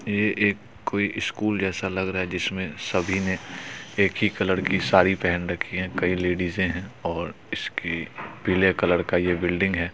ये एक कोई स्कूल जैसा लग रहा है जिसमे सभी ने एक ही कलर की साड़ी पेहन रखी है कई लेडीजे है और इसकी पीले कलर का ये बिल्डिंग है।